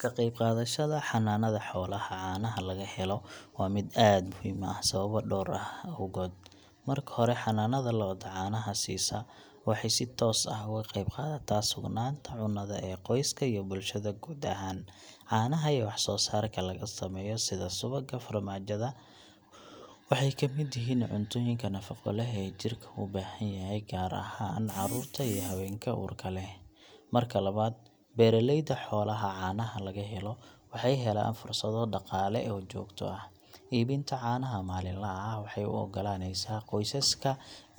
Ka qeybqaadashada xanaanada xoolaha caanaha laga helo waa mid aad muhiim u ah sababo dhowr ah awgood. Marka hore, xanaanada lo’da caanaha siisa waxay si toos ah uga qeybqaadataa sugnaanta cunnada ee qoysaska iyo bulshada guud ahaan. Caanaha iyo wax soo saarka laga sameeyo sida subagga, farmaajada iyo yogurt-ka waxay ka mid yihiin cuntooyinka nafaqo leh ee jirka u baahan yahay, gaar ahaan carruurta iyo haweenka uurka leh. Marka labaad, beeraleyda xoolaha caanaha laga helo waxay helaan fursado dhaqaale oo joogto ah. Iibinta caanaha maalinlaha ah waxay u oggolaaneysaa qoysaska